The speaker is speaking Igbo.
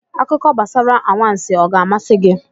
Akụkọ gbasara anwansị ọ ga-amasị gị?